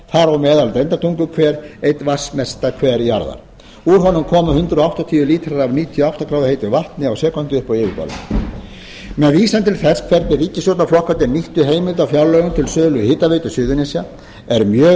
á meðal deildartunguhver einn vatnsmesta hver jarðar úr honum koma hundrað áttatíu lítrar af níutíu og átta gráðu heitu vatni á sekúndu upp á yfirborðið með vísan til þess hvernig ríkisstjórnarflokkarnir nýttu heimild á fjárlögum til sölu hitaveitu suðurnesja er mjög